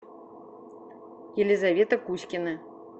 елизавета кузькина